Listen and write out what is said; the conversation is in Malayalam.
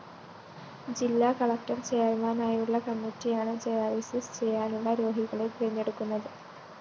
ജില്ലാ കളക്ടർ ചെയര്‍മാനായുള്ള കമ്മറ്റിയാണ് ഡയാലിസിസ്‌ ചെയ്യാനുള്ള രോഗികളെ തെരഞ്ഞെടുക്കുന്നത്